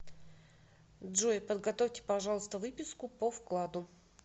джой подготовьте пожалуйста выписку по вкладу